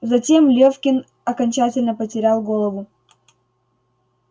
затем лёфкин окончательно потерял голову